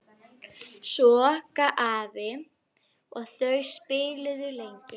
Svo gaf afi og þau spiluðu lengi.